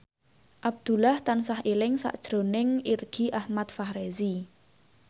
Abdullah tansah eling sakjroning Irgi Ahmad Fahrezi